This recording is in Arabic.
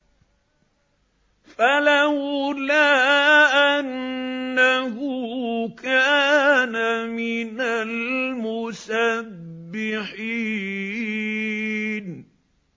فَلَوْلَا أَنَّهُ كَانَ مِنَ الْمُسَبِّحِينَ